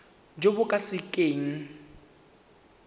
jo bo ka se keng